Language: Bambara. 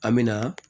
An me na